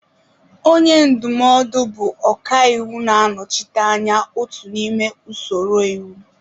Onye ndụmọdụ bụ ọkàiwu na-anọchite anya otu n'ime usoro iwu.